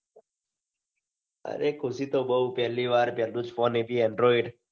અરે ખુશી તો બૌ પેલ્લીવાર પેલ્લો જ ફોન એ ભી android